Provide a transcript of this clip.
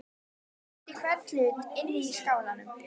Hún þekkti hvern hlut inni í skálanum.